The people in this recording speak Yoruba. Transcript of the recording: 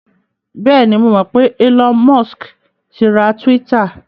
Bẹ́ẹ̀ni, mo mọ̀ pé Elon Musk ti ra Twitter.